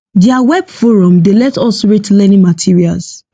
dia web forum dey let us rate learning materials